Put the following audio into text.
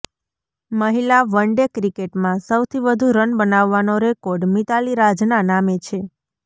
મહિલા વનડે ક્રિકેટમાં સૌથી વધુ રન બનાવવાનો રેકોર્ડ મિતાલી રાજના નામે છે